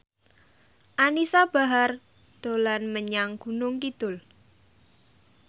Anisa Bahar dolan menyang Gunung Kidul